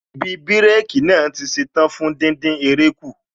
Ibi bírékī naa tí ṣetán fún díndín eré kù